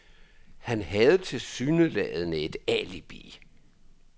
Han havde tilsyneladende et alibi.